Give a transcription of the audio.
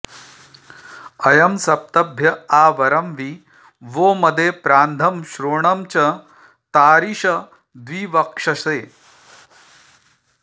अ॒यं स॒प्तभ्य॒ आ वरं॒ वि वो॒ मदे॒ प्रान्धं श्रो॒णं च॑ तारिष॒द्विव॑क्षसे